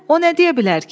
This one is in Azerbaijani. O nə deyə bilər ki?